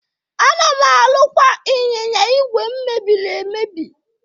Ana m arụkwa ịnyịnya ìgwè m mebiri emebi.